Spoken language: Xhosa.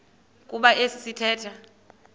kuba esi sithethe